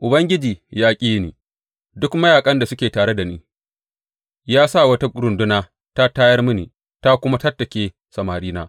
Ubangiji ya ƙi duk mayaƙan da suke tare da ni; ya sa wata runduna ta tayar mini ta kuma tattake samarina.